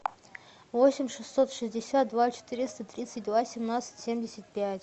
восемь шестьсот шестьдесят два четыреста тридцать два семнадцать семьдесят пять